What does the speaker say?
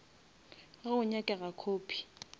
ge go nyakega copy